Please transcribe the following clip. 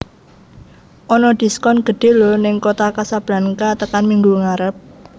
Ono diskon gedhe lho ning Kota Kasblanka tekan minggu ngarep